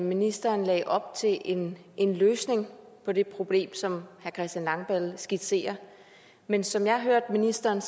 ministeren lagde op til en en løsning på det problem som herre christian langballe skitserer men som jeg hørte ministeren